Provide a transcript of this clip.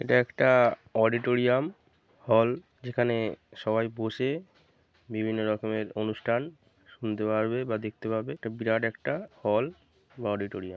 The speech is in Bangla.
এটা একটা অডিটোরিয়াম হল যেখানে সবাই বসে বিভিন্ন রকমের অনুষ্ঠান শুনতে পারবে বা দেখতে পারবে। এটা বিরাট একটা হল বা অডিটোরিয়াম ।